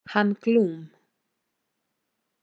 Hann Glúm.